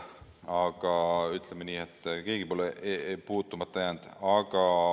Aga ütleme nii, et keegi pole puutumata jäänud.